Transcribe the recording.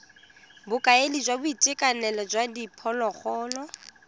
bokaedi jwa boitekanelo jwa diphologolo